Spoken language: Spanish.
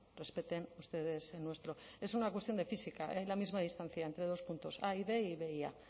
respeten ustedes el nuestro es una cuestión de física hay la misma distancia entre dos puntos a y b y b y a